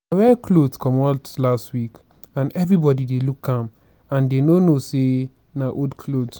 i wear cloth come out last week and everybody dey look am and dey no know say na old cloth